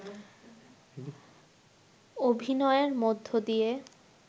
অভিনয়ের মধ্যদিয়ে